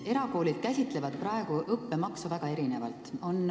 Erakoolid käsitlevad praegu õppemaksu väga erinevalt.